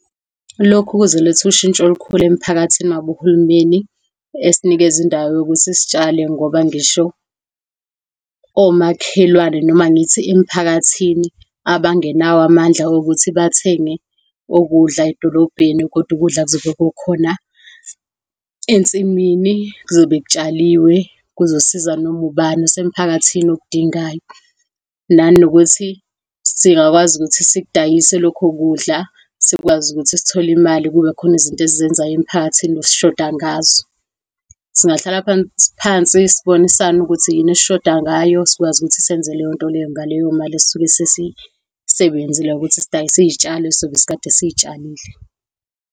Lokhu kuzoletha ushintsho olukhulu emphakathini uma uhulumeni esinikeza indawo yokuthi sitshale, ngoba ngisho omakhelwane noma ngithi emiphakathini, abangenawo amandla okuthi bathenge ukudla edolobheni, kodwa ukudla kuzobe kukhona ensimini, kuzobe kutshaliwe. Kuzosiza noma ubani osemphakathini okudingayo. Nanokuthi singakwazi ukuthi sikudayise lokho kudla, sikwazi ukuthi sithole imali. Kube khona izinto esizenzayo emiphakathini esishoda ngazo. Singahlala phansi, sibonisane ukuthi yini esishoda ngayo, sikwazi ukuthi senze leyonto ngaleyo mali esisuke siyibenzile ngokuthi sidayise izitshalo esizobe sikade sizitshalile.